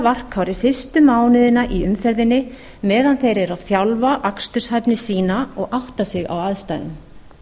varkárir fyrstu mánuðina í umferðinni meðan þeir eru að þjálfa aksturshæfni sína og átta sig á aðstæðum